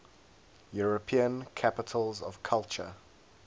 european capitals of culture